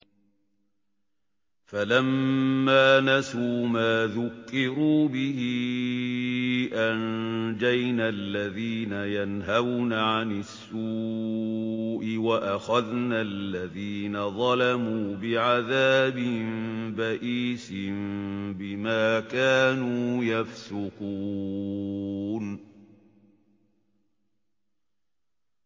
فَلَمَّا نَسُوا مَا ذُكِّرُوا بِهِ أَنجَيْنَا الَّذِينَ يَنْهَوْنَ عَنِ السُّوءِ وَأَخَذْنَا الَّذِينَ ظَلَمُوا بِعَذَابٍ بَئِيسٍ بِمَا كَانُوا يَفْسُقُونَ